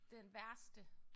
Den værste